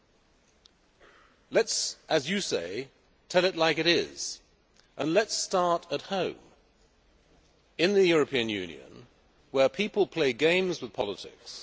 Mr Kowal, let us, as you say, tell it like it is and let us start at home, in the European Union, where people play games with politics.